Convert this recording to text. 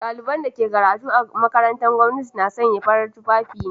Daliban da ke karatu a makarantun gwamnati na sanya fararen tufafi ne.